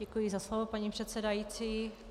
Děkuji za slovo, paní předsedající.